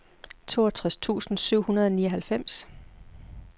toogtres tusind syv hundrede og nioghalvfems